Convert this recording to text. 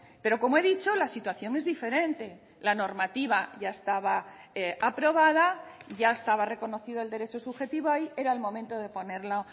pero como he dicho la situación es diferente la normativa ya estaba aprobada ya estaba reconocido el derecho subjetivo y era el momento de ponerlo